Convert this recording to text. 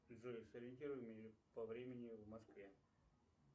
джой сориентируй меня по времени в москве